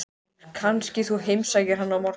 Kannski þú heimsækir hann á morgun?